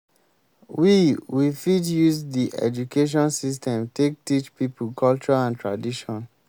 we we fit use di education system take teach pipo culture and tradition